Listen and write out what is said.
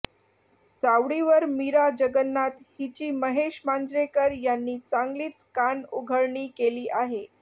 चावडीवर मीरा जगन्नाथ हिची महेश मांजरेकर यांनी चांगलीच कानउघडणी केली आहे